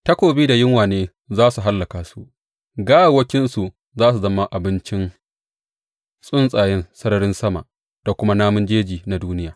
Takobi da yunwa ne za su hallaka su, gawawwakinsu za su zama abincin tsuntsayen sararin sama da kuma namun jeji na duniya.